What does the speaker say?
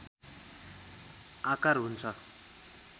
आकार हुन्छ